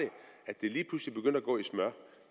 smør